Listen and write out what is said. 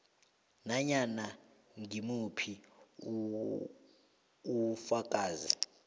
nanyana ngimuphi ufakazi